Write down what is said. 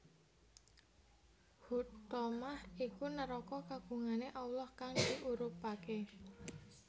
Huthomah iku neraka kagungane Allah kang diurubake